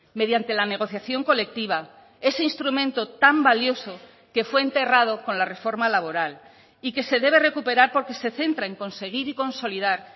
mediante la negociación colectiva ese instrumento tan valioso que fue enterrado con la reforma laboral y que se debe recuperar porque se centra en conseguir y consolidar